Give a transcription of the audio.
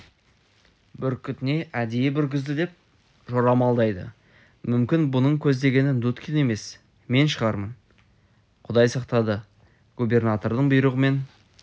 бүркітіне әдейі бүргізді деп жорамалдайды мүмкін мұның көздегені дудкин емес мен шығармын құдай сақтады губернатордың бұйрығымен